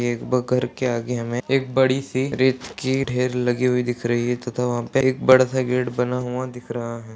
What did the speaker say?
एक ब घर के आगे हमें एक बड़ी सी रेत की ढेर लगी हुई दिख रही है तथा वहां पे एक बड़ा सा गेट बना हुआ दिख रहा है।